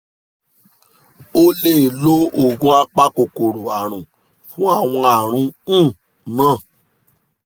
o lè lo oògùn apakòkòrò àrùn fún àwọn àrùn um náà